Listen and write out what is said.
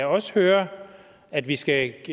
også hører at vi skal